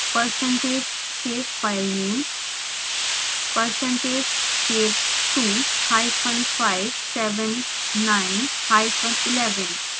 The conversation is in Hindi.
percentage save filename